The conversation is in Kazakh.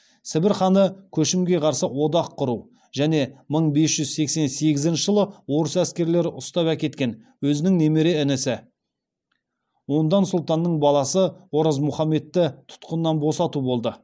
сібір ханы көшімге қарсы одақ құру және мың бес жүз сексен сегізінші жылы орыс әскерлері ұстап әкеткен өзінің немере інісі ондан сұлтанның баласы оразмұхаммедті тұтқыннан босату болды